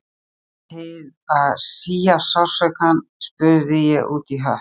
Til að svía sársaukann spurði ég útí hött